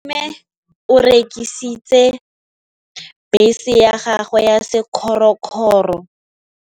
Malome o rekisitse bese ya gagwe ya sekgorokgoro.